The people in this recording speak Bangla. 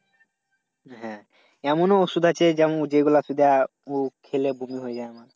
হ্যাঁ এমন ও ঔষধ আছে যেমন যেগুলো উ খেলে বমি হয়ে যায়।